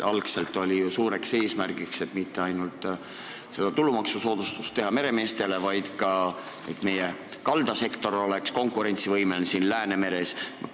Algul oli suur eesmärk mitte ainult meremeestele tulumaksusoodustus teha, vaid ka, et meie kaldasektor oleks Läänemere ääres konkurentsivõimelisem.